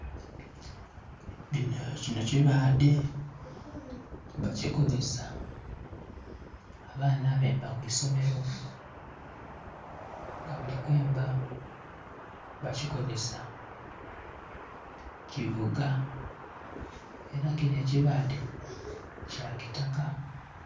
Kino kibadhe bakikozesa abaana abemba kwisomero nga bali kwemba bakikozesa kivuga era kino ekibadhe kya kitaka.